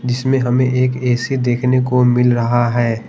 जिसमे हमे एक ए_सी देखने को मिल रहा है।